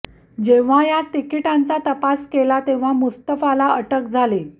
जेवहा या तिकीटांचा तपास केला तेव्हा मुस्तफाला अटक झाली